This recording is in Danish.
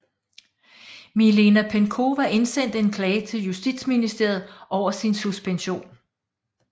Milena Penkowa indsendte en klage til Justitsministeriet over sin suspension